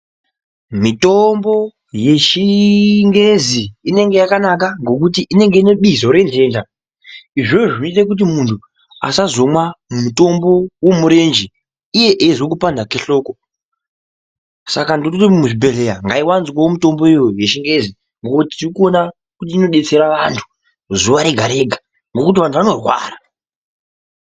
Mitombo yechingezi inenge yakanaka nokuti inebizo rentenda. Izvozvo zvinoite kuti muntu asazomwa mutombo wemurenje iye eizwa kupanda kwehloko. Saka ndinoti muzvibhehleya ngaiwanzwewo mitombo iyoyo yechingezi nekuti tirikuona kuti inodetsera vantu zuwa rega rega ngekuti vantu vanorwara.